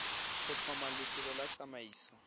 go tlhoma lefelo la tsamaiso